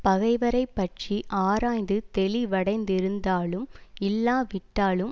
பகைவரைப்பற்றி ஆராய்ந்து தெளிவடைந்திருந்தாலும் இல்லாவிட்டாலும்